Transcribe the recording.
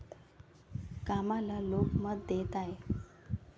कामाला लोक मत देत आहेत.